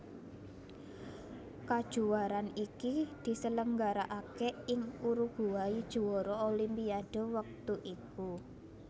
Kajuwaraan iki diselenggarakaké ing Uruguay juwara Olimpiade wektu iku